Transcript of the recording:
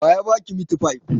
Wa ya ba ki mitifai?